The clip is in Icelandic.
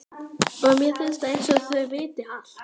Og mér finnst einsog þau viti allt.